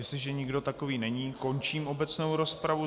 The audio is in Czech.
Jestliže nikdo takový není, končím obecnou rozpravu.